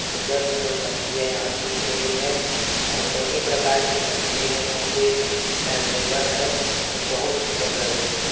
सुन्दर - सुन्दर मछलियाँ यहाँ दिख रही है और सभी प्रकार की मछलियाँ यहाँ पे अविलबले है और बोहुत सुन्दर लग रही है।